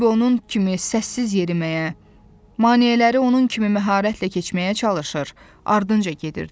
Bembi onun kimi səssiz yeriməyə, maneələri onun kimi məharətlə keçməyə çalışır, ardınca gedirdi.